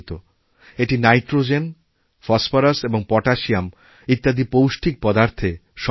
এটি nitrogen phosphorus ওপটাশিয়াম প্রভৃতি পৌষ্টিক পদার্থে সমৃদ্ধ